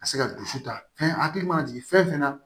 Ka se ka dusu ta fɛn hakili mana jigin fɛn fɛn na